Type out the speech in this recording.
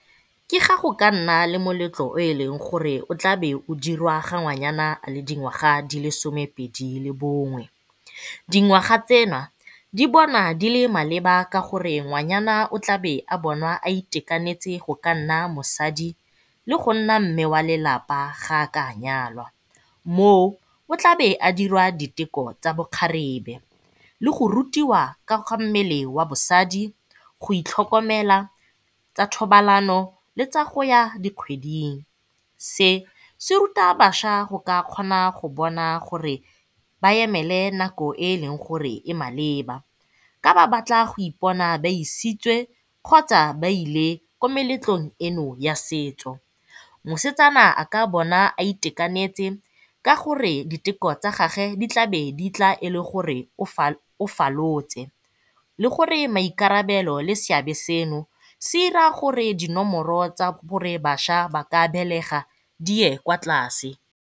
Ke ga go ka nna le moletlo o e leng gore go tlaa be o dirwa gore ge ngwanyana a le dingwaga di le somepedi le bongwe. Dingwaga tsena di bonwa di le maleba ka gore ngwanyana o tlabe a bonwa a itekanetse go ka nna mosadi le go nna mme wa lelapa ga a ka nyalwa. Moo, o tlaabe a dira diteko tsa bokgarebe le go rutiwa ka ga mmele wa bosadi go itlhokomela tsa thobalano le tsa go ya dikgweding. Se se ruta bašwa go ka kgona go bona gore ba emele nako e e leng gore e maleba ga ba batla go ipona ba isitswe kgotsa ba ile ko meletlong eno ya setso. Mosetsana a ka bona a itekanetse ka gore diteko tsa gage di tlabe di tla e le gore o falotse le gore maikarabelo le seabe seno se ira gore dinomoro tsa gore bašwa ba ka belega di ye kwa tlase.